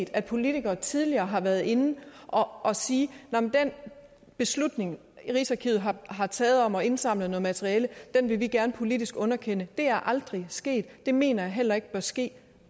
at politikere tidligere har været inde og sige at den beslutning rigsarkivet har har taget om at indsamle materiale vil de gerne politisk underkende det er aldrig sket det mener jeg heller ikke bør ske